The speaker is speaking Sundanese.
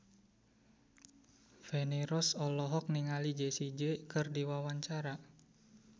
Feni Rose olohok ningali Jessie J keur diwawancara